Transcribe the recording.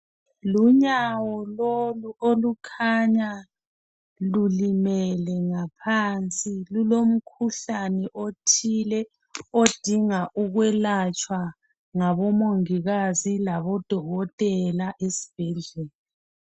Lunyawo lolu olukhanya lulimele ngaphansi . Lulomkhuhlane othile odinga ukwelatshwa ngabomongikazi labodokotela esibhedlela.